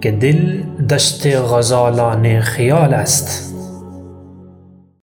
که دل دشت غزالان خیال است